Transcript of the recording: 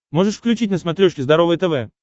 можешь включить на смотрешке здоровое тв